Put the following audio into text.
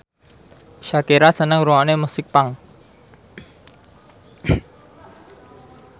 Shakira seneng ngrungokne musik punk